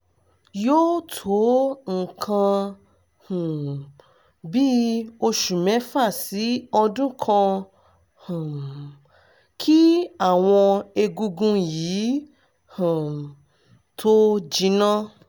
yóò tó nǹkan um bíi oṣù mẹ́fà sí ọdún kan um kí àwọn egungun yìí um tó jinná